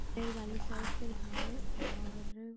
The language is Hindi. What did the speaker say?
गैर वाली साइकिल है और --